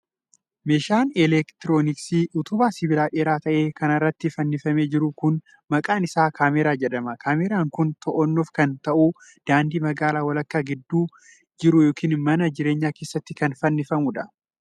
Meeshaan elektirooniksii utubaa sibiilaa dheeraa ta'e kana irratti fannifamee jiru kun maqaan isaa kaameraa jedhama. Kaameraan kun to'annoof akka ta'uuf daandii magaalaa walakkaa gidduu jiru yookin mana jireenyaa keessatti kan fannifamuu dha.